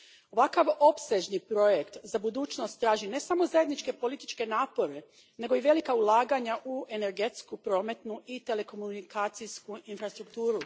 Ovakav opsežni projekt za budućnost traži ne samo zajedničke političke napore, nego i velika ulaganja u energetsku, prometnu i telekomunikacijsku infrastrukturu.